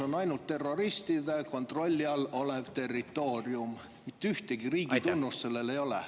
On ainult terroristide kontrolli all olev territoorium, mitte ühtegi riigi tunnust sellel ei ole.